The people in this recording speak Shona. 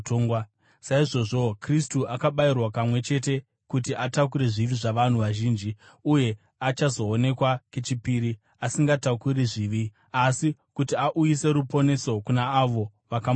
saizvozvowo Kristu akabayirwa kamwe chete kuti atakure zvivi zvavanhu vazhinji; uye achazoonekwa kechipiri, asingatakuri zvivi, asi kuti auyise ruponeso kuna avo vakamumirira.